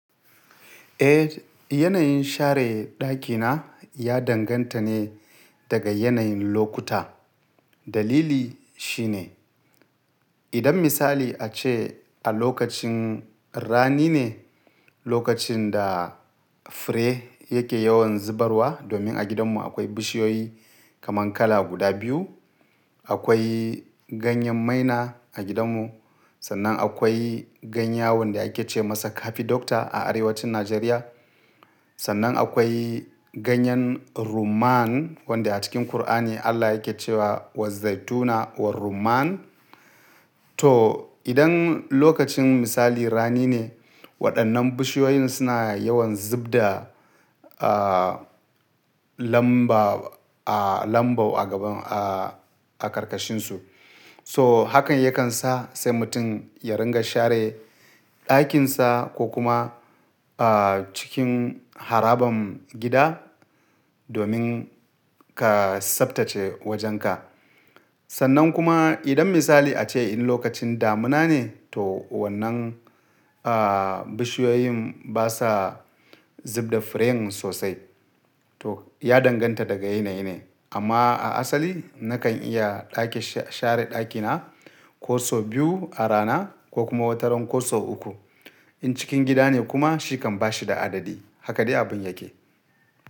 Eh, yanayin share ɗakina ya danganta ne daga yanayin lokuta. Dalili shi ne, idan misali a ce a lokacin rani ne, lokacin da fure yake yawan zubarwa, domin a gidanmu akwai bishiyoyi kaman kala guda biyu. Akwai ganyen maina a gidanmu, sannan akwai ganya wanda ake ce masa kafi dokta a arewacin Najeriya. Sannan akwai ganyen rumman wanda a cikin Kur'ani Allah yake cewa "wa zaituna wa rumman". To, idan lokacin misali rani ne, waɗannan bishiyoyin suna yawan zub da, lamba, lambar a gaban, a karkashinsu. To hakan yakan sa sai mutum ya ringa share ɗakinsa ko kuma, a cikin harabar gida domin ka tsabtace wajenka. Sannan kuma idan misali a ce in lokacin damuna ne, to wannan, bishiyoyin basa zub da furen sosai. To, ya danganta daga yanayi ne. Amma a asali nakan iya ɗake sha-share ɗakina kuso biyu a rana ko kuma wataran koso uku. In cikin gida ne kuma shi kan bashi da adadi. Haka dai abun yake.